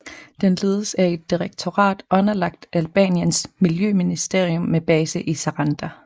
Den ledes af et direktorat underlagt Albaniens miljøministerium med base i Saranda